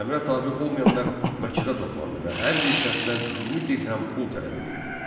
Əmrə tabe olmayanlar məscidə toplandı və hər bir şəxsdən 20 dirhəm pul tələb edildi.